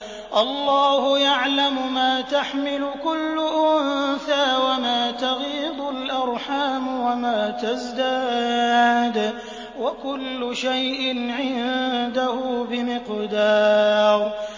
اللَّهُ يَعْلَمُ مَا تَحْمِلُ كُلُّ أُنثَىٰ وَمَا تَغِيضُ الْأَرْحَامُ وَمَا تَزْدَادُ ۖ وَكُلُّ شَيْءٍ عِندَهُ بِمِقْدَارٍ